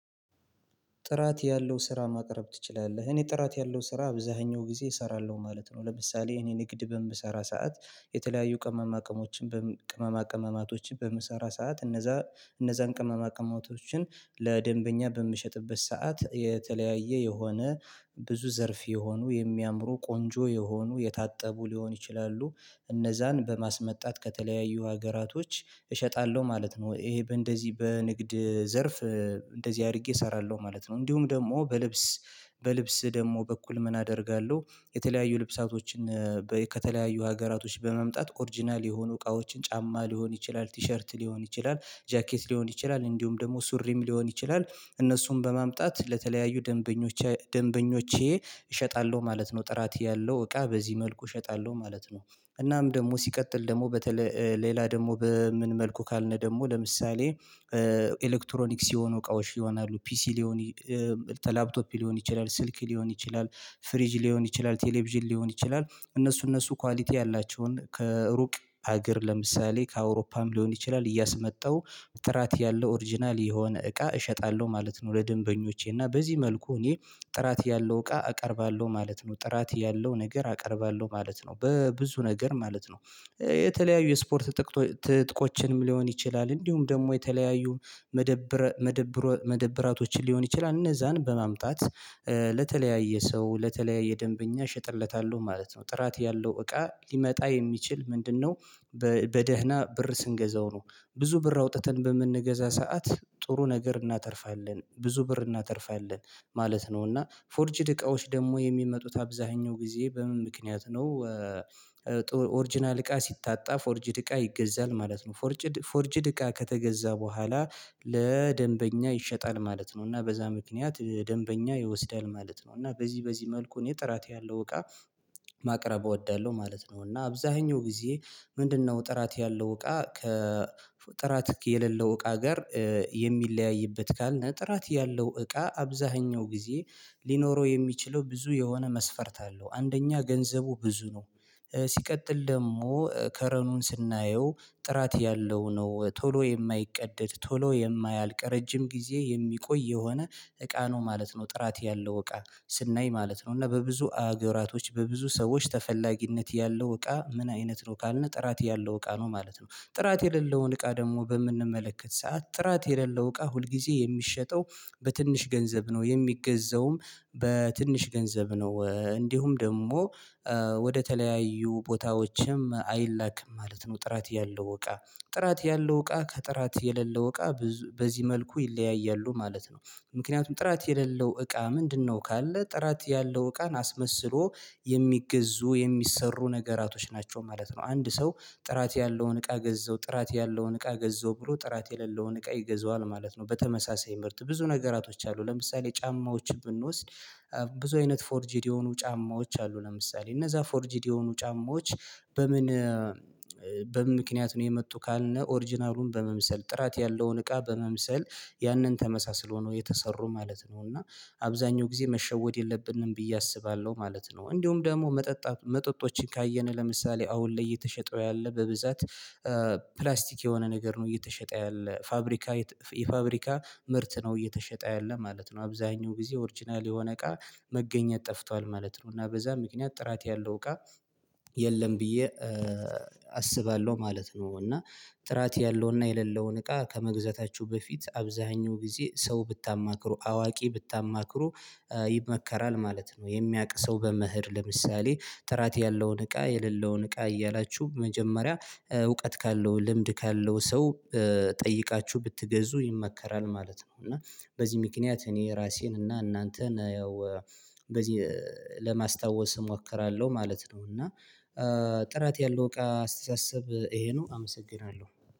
ጥራት ያለው ስራ ማቅረብ ትችላለህ እኔ ጥራት ያለው ስራ አብዛኛው ጊዜ እሰራለሁ ማለት ነው። ለምሳሌ እኔ ንግድ በምሰራ ሰዓት የተለያዩ ቅመማ ቅመማቶችን በምሰራ ሰዓት እነዛ እነዛን ቅመማ ቅመማቶችን ለደንበኛ በምሸጥበት ሰዓት የተለያየ የሆነ ብዙ ዘርፍ የሆኑ የሚያምሩ ቆንጆ የሆኑ የታጠቡ ሊሆን ይችላሉ እነዛን በማስመጣት ከተለያዩ ሀገራቶች እሸጣለሁ ማለት ነው። ይሄ በእንደዚህ በንግድ ዘርፍ እንደዚህ አድርጌ እሰራለሁ ማለት ነው። እንዲሁም ደግሞ በልብስ በልብስ ደግሞ በኩል ምን አደርጋለሁ የተለያዩ ልብሳቶችን ከተለያዩ ሀገራቶች በማምጣት ኦርጅናል የሆኑ እቃዎችን ጫማ ሊሆን ይችላል ቲሸርት ሊሆን ይችላል ጃኬት ሊሆን ይችላል እንዲሁም ደግሞ ሱርም ሊሆን ይችላል። እነሱን በማምጣት ለተለያዩ ደንበኞቼ እሸጣለሁ ማለት ነው ጥራት ያለው እቃ በዚህ መልኩ እሸጣለሁ ማለት ነው። እናም ደግሞ ሲቀጥል ደግሞ በተለይ ሌላ ደግሞ በምን መልኩ ካልን ደግሞ ለምሳሌ ኤሌክትሮኒክስ የሆኑ እቃዎች ይሆናሉ ፒሲ ሊሆኑ ላፕቶፕ ሊሆን ይችላል ስልክ ሊሆን ይችላል። ፍሪጅ ሊሆን ይችላል ቴሌቪዥን ሊሆን ይችላል እነሱ እነሱ ኳሊቲ ያላቸውን ከሩቅ ሀገር ለምሳሌ ከአውሮፓም ሊሆን ይችላል እያስመጣው ጥራት ያለው ኦሪጅናል የሆነ እቃ እሸጣለሁ ማለት ነው። ለደንበኞቼ እና በዚህ መልኩ እኔ ጥራት ያለው እቃ አቀርባለሁ ማለት ነው ጥራት ያለው ነገር አቀርባለሁ ማለት ነው። በብዙ ነገር ማለት ነው የተለያዩ የስፖርት ትጥቆችን ሊሆን ይችላል እንዲሁም ደግሞ የተለያዩ መደብራቶችን ሊሆን ይችላል እነዛን በማምጣት ለተለያየ ሰው ለተለያየ ደንበኛ እሸጥለታለሁ ማለት ነው። ጥራት ያለው እቃ ሊመጣ የሚችል ምንድነው? በደህና ብር ስንገዛው ነው ብዙ ብር አውጥተን በምንገዛ ሰዓት ጥሩ ነገር እናተርፋለን ብዙ ብር እናተርፋለን ማለት ነው። እና ፎርጅድ እቃዎች ደግሞ የሚመጡት አብዛኛው ጊዜ በምን ምክንያት ነው? ኦሪጅናል እቃ ሲታጣ ፎርጅድ እቃ ይገዛል ማለት ነው ፎርጅድ እቃ ከተገዛ በኋላ ለደንበኛ ይሸጣል ማለት ነው። እና በዛ ምክንያት ደንበኛ ይወስዳል ማለት ነው። እና በዚህ በዚህ መልኩ እኔ ጥራት ያለው እቃ ማቅረብ እወዳለሁ ማለት ነው። እና አብዛኛው ጊዜ ምንድነው? ጥራት ያለው እቃ ከጥራት የሌለው እቃ ጋር የሚለያይበት ካልነ ጥራት ያለው እቃ አብዛኛው ጊዜ ሊኖረው የሚችለው ብዙ የሆነ መስፈርት አለው። አንደኛ ገንዘቡ ብዙ ነው ሲቀጥል ደግሞ ከለሩን ስናየው ጥራት ያለው ነው ቶሎ የማይቀደድ ቶሎ የማያልቅ ረጅም ጊዜ የሚቆይ የሆነ እቃ ነው ማለት ነው። ጥራት ያለው እቃ ስናይ ማለት ነው እና በብዙ አገራቶች በብዙ ሰዎች ተፈላጊነት ያለው እቃ ምን አይነት ነው ካልነ ጥራት ያለው እቃ ነው ማለት ነው። ጥራት የሌለውን እቃ ደግሞ በምንመለከት ሰዓት ጥራት የሌለው እቃ ሁልጊዜ የሚሸጠው በትንሽ ገንዘብ ነው የሚገዛውም በትንሽ ገንዘብ ነው እንዲሁም ደግሞ ወደ ተለያዩ ቦታዎችም አይላክም ማለት ነው። ጥራት ያለው እቃ ጥራት ያለው እቃ ከጥራት የሌለው እቃ በዚህ መልኩ ይለያያሉ ማለት ነው። ምክንያቱም ጥራት የሌለው እቃ ምንድነው? ካለ ጥራት ያለው እቃን አስመስሎ የሚገዙ የሚሰሩ ነገራቶች ናቸው ማለት ነው። አንድ ሰው ጥራት ያለውን እቃ ገዛው ጥራት ያለውን እቃ ገዛው ብሎ ጥራት የሌለውን እቃ ይገዛዋል ማለት ነው። በተመሳሳይ ምርት ብዙ ነገራቶች አሉ ለምሳሌ ጫማዎችን ብንወስድ ብዙ አይነት ፎርጂድ የሆኑ ጫማዎች አሉ። ለምሳሌ እነዛ ፎርጂድ የሆኑ ጫማዎች በምን በምክንያት ነው የመጡ ካልነ ኦሪጅናሉን በመምሰል ጥራት ያለውን እቃ በመምሰል ያንን ተመሳስሎ ነው የተሰሩ ማለት ነው። እና አብዛኛው ጊዜ መሸወድ የለብንም ብዬ አስባለሁ ማለት ነው። እንዲሁም ደግሞ መጠጥ መጠጦችን ካየነ ለምሳሌ አሁን ላይ እየተሸጠ ያለ በብዛት ፕላስቲክ የሆነ ነገር ነው እየተሸጠ ያለ ፋብሪካ የፋብሪካ ምርት ነው እየተሸጠ ያለ ማለት ነው። አብዛኛው ጊዜ ኦርጅናል የሆነ እቃ መገኘት ጠፍቷል ማለት ነው። እና በዛ ምክንያት ጥራት ያለው እቃ የለም ብዬ አስባለሁ ማለት ነው። እና ጥራት ያለውና የሌለውን እቃ ከመግዛታችሁ በፊት አብዛኛው ጊዜ ሰው ብታማክሩ አዋቂ ብታማክሩ ይመከራል ማለት ነው። የሚያውቅ ሰው በመሄድ ለምሳሌ ጥራት ያለውን እቃ የሌለውን እቃ እያላችሁ መጀመሪያ እውቀት ካለው ልምድ ካለው ሰው ጠይቃችሁ ብትገዙ ይመከራል ማለት ነው። እና በዚህ ምክንያት እኔ የራሴን እና እናንተን ያው እንደዚህ ለማስታወስ እሞክራለሁ ማለት ነው። እና ጥራት ያለው እቃ አስተሳሰብ ይሄ ነው አመሰግናለሁ